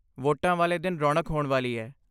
ਵੋਟਾਂ ਵਾਲੇ ਦਿਨ ਰੌਣਕ ਹੋਣ ਵਾਲੀ ਹੈ।